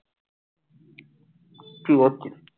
কি করছিস?